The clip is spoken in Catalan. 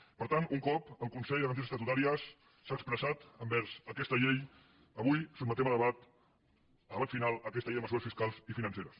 per tant un cop el consell de garanties estatutàries s’ha expressat envers aquesta llei avui sotmetem a debat a debat final aquesta llei de mesures fiscals i financeres